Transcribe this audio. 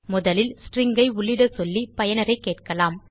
முதலில் ஸ்ட்ரிங் ஐ உள்ளிட சொல்லி பயனரைக் கேட்கலாம்